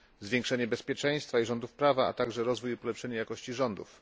zwiększenie bezpieczeństwa i rządów prawa, a także rozwój i polepszenie jakości rządów.